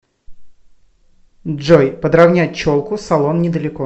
джой подравнять челку салон недалеко